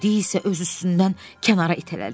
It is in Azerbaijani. Meyidi isə öz üstündən kənara itələdi.